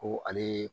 Ko ale